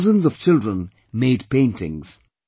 Thousands of children made paintings